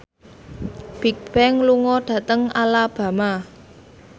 Bigbang lunga dhateng Alabama